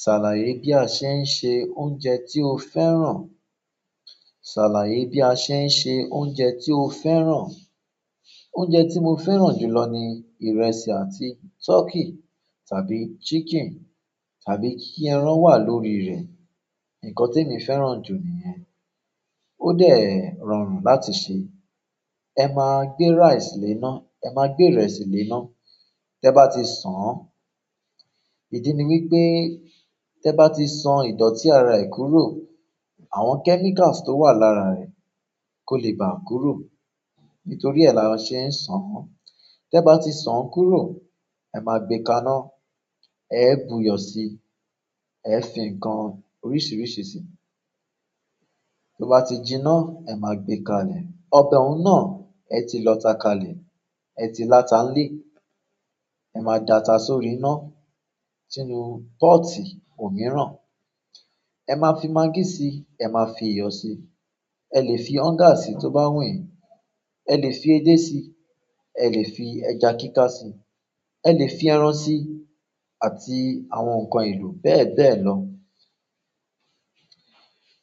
Ṣàlàyé bí a ṣe ń se oúnjẹ tí o fẹ́ràn? Ṣàlàyé bí a ṣe ń se oúnjẹ tí o fẹ́ràn? Oúnjẹ tí mo fẹ́ràn jù lọ ni ìrẹsì àti turkey tàbí chicken tàbí kí ẹran wà lórí rẹ̀. Nǹkan temi fẹ́ràn jù nìyẹn. Ó dẹ́ rọrùn láti sè é. Ẹ máa gbé rice léná, ẹ máa gbé ìrẹsì léná. Tẹ́ bá ti san án, ìdí ni wípé te ba ti san idoti ara e kúrò, àwọn chemicals to wa lára re kò lè bà kúrò nítorí ẹ́ la ṣe ń san án. Tẹ́ bá ti san kúrò, ẹ máa gbé ka ná, ẹ bu iyọ̀ síi, ẹ fi ǹkan oríṣìíríṣìí síi. To bá ti jiná, ẹ máa gbé ka lè. Ọbẹ̀ ọ̀ún náà ẹ ti lọ tà ka lè, ẹ ti la ta n lè, ẹ máa data sórí iná sínú poti òmíràn. E maa fi maggi si, e maa fi iyo si. Ẹ lè fi onga síí tó bá wù yín, ẹ lè fi edé síi, ẹ lè fi ẹja kíká síi, ẹ lè fi ẹran síi àti àwọn ǹkan elo bẹ́ẹ̀ bẹ́ẹ̀ lọ.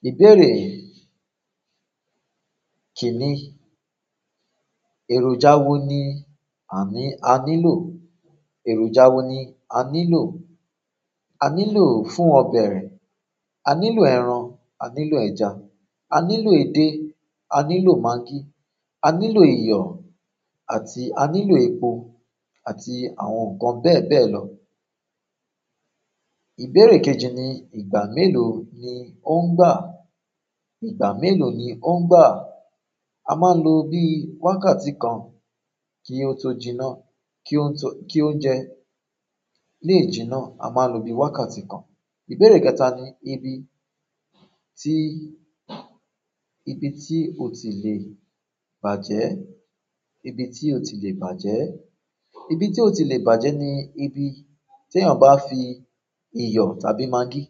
Ìbéèrè kìíní, èròjà wo ni a ní, a ní lò, èròjà wo ni a ní lò? A ní lò fún ọbẹ̀ rẹ̀, a ní lò ẹran, a ní lò ẹja, a ní lò edé, a ní lò magí, a ní lò iyọ̀ àti a ní lò epo àti àwọn ǹkan bẹ́ẹ̀ bẹ́ẹ̀ lọ. Ìbéèrè kẹ́jì ni ìgbà mélòó ni ó ń gbà? "Ìgbà mélòó ni ó ń gbà?" A máa n lò bí wákàtí kan kí ó tó jiná, kí ó tó, kí oúnjẹ. Léjìnà a máa lò bí wákàtí kan. Ìbéèrè kẹ́ta ni ibi tí, ibi tí ó ti le bàjẹ́? "Ibi tí ó ti le bàjẹ́?" Ibi tí ó ti le bàjẹ́ ni ibi tí ẹ́yàn bá fi iyọ̀ tàbí magí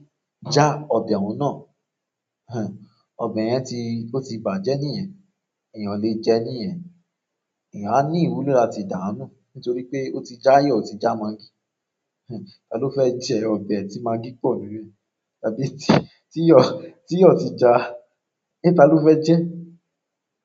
já ọbẹ̀ ọ̀ún náà. Ẹn, ọbẹ̀ yẹn ti, ó ti bàjẹ́ níyẹn. Eeyan o le je niyen. Ẹ̀yàn á ní ìwúlò láti dànù nítorí pé ó ti já iyọ̀, ó ti já magí. Ẹn, ta ló fẹ́ jẹ ọbẹ̀ tí magí pọ̀ nínú rẹ̀ tàbí tí, tí iyọ̀, tí iyọ̀ ti já? Ń ta ló fẹ́ jẹ?